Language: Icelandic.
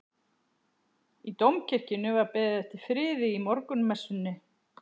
Í Dómkirkjunni var beðið fyrir friði í morgunmessunni.